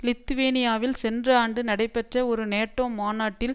லித்துவேனியாவில் சென்ற ஆண்டு நடைபெற்ற ஒரு நேட்டோ மாநாட்டில்